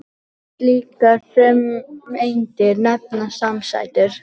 Slíkar frumeindir nefnast samsætur.